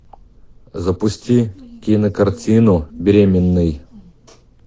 запусти кинокартину беременный